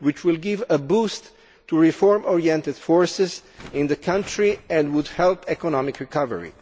This will give a boost to reform oriented forces in the country and help economic recovery.